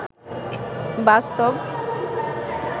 বাস্তব